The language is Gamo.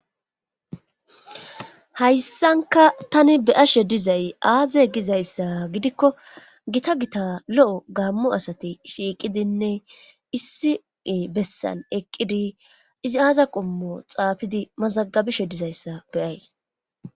Hayssanka tani beyashe dizay aaze gizayssa gidikko gita gita lo7o gaammo asati shiiqidinne issiue bessan eqqidi izi aaza qommo xaafidi mazagabeshe dizayssa beyays.